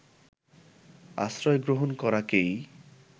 আশ্রয় গ্রহণ করাকেই